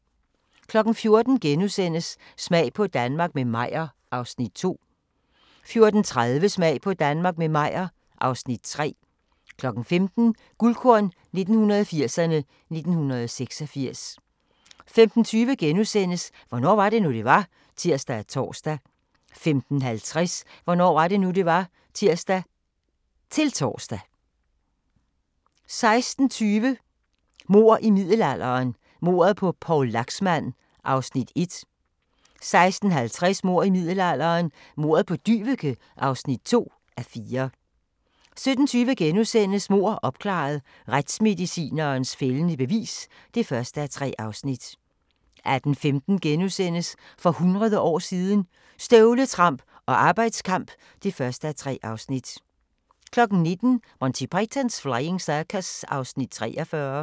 14:00: Smag på Danmark – med Meyer (Afs. 2)* 14:30: Smag på Danmark – med Meyer (Afs. 3) 15:00: Guldkorn 1980'erne: 1986 15:20: Hvornår var det nu, det var? *(tir og tor) 15:50: Hvornår var det nu, det var? (tir-tor) 16:20: Mord i middelalderen – Mordet på Poul Laxmand (1:4) 16:50: Mord i middelalderen – Mordet på Dyveke (2:4) 17:20: Mord opklaret – Retsmedicinens fældende bevis (1:3)* 18:15: For hundrede år siden – Støvletramp og arbejdskamp (1:3)* 19:00: Monty Python's Flying Circus (43:45)